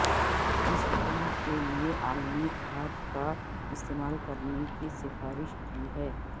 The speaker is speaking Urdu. اس پھول کے لئے عالمی کھاد کا استعمال کرنے کی سفارش کی ہے